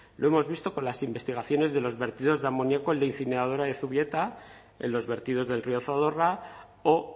lo hemos visto con las investigaciones de los vertidos de amoniaco en la incineradora de zubieta en los vertidos del río zadorra o